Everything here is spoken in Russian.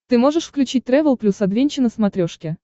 ты можешь включить трэвел плюс адвенча на смотрешке